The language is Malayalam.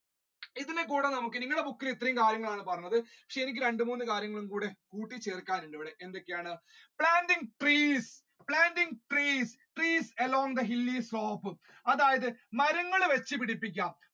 ഇതിനെ കൂടി നമ്മുക്ക് നിങ്ങടെ book ഇൽ ഇത്രയും കാര്യങ്ങൾ ആണ് പറഞ്ഞത് ശരിക്കും രണ്ട് മൂന്ന് കാര്യങ്ങൾ കൂടി ചേർക്കാനുണ്ട് എന്തൊക്കെയാണ് planting trees, planting trees, trees along the hilly slope അതായത് മരങ്ങൾ വെച്ചു പിടിപ്പിക്കുക